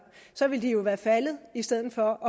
så ville de jo være faldet i stedet for